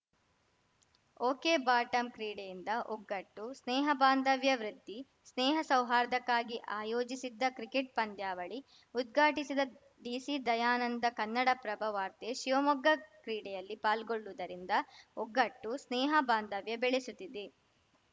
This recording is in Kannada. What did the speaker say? ಒಕೆಬಾಟಂ ಕ್ರೀಡೆಯಿಂದ ಒಗ್ಗಟ್ಟು ಸ್ನೇಹ ಬಾಂಧವ್ಯ ವೃದ್ಧಿ ಸ್ನೇಹ ಸೌಹಾರ್ದಕ್ಕಾಗಿ ಆಯೋಜಿಸಿದ್ದ ಕ್ರಿಕೆಟ್‌ ಪಂದ್ಯಾವಳಿ ಉದ್ಘಾಟಿಸಿದ ಡಿಸಿ ದಯಾನಂದ ಕನ್ನಡಪ್ರಭ ವಾರ್ತೆ ಶಿವಮೊಗ್ಗ ಕ್ರೀಡೆಯಲ್ಲಿ ಪಾಲ್ಗೊಳ್ಳುವುದರಿಂದ ಒಗ್ಗಟ್ಟು ಸ್ನೇಹ ಬಾಂಧವ್ಯ ಬೆಳೆಸುತ್ತಿದೆ